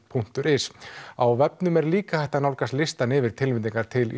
punktur is á vefnum er líka hægt að nálgast listann yfir tilnefningar til